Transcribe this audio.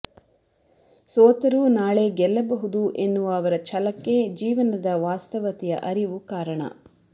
ಸೋತರೂ ನಾಳೆ ಗೆಲ್ಲಬಹುದು ಎನ್ನುವ ಅವರ ಛಲಕ್ಕೆ ಜೀವನದ ವಾಸ್ತವತೆಯ ಅರಿವು ಕಾರಣ